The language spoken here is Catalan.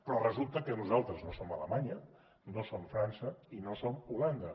però resulta que nosaltres no som alemanya no som frança i no som holanda